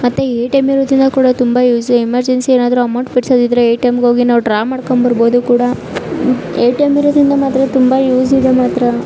ಮತ್ತೆ ಎ_ಟಿ_ಎಂ ಇರುವುದರಿಂದ ಕೂಡ ತುಂಬಾ ಯುಸು ಎಮೆರ್ಜೆನ್ಸಿ ಏನಾದ್ರು ಅಮೌಂಟ್ ಫಿಟ್ಸದಿದ್ದ್ರೆ ಎ_ಟಿ_ಎಂ ಇಗೆ ಹೋಗಿ ನಾವ್ ಡ್ರಾ ಮಾಡ್ಕೊಂಡ್ ಬಾರ್ಬೊಹೋದು ಕೂಡಾ. ಎ_ಟಿ_ಎಂ ಇರೋದ್ರಿಂದ ಮಾತ್ರೆ ತುಂಬಾ ಯುಸ ಇದೆ ಮಾತ್ರಾ.